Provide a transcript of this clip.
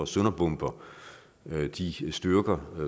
sønderbomber de styrker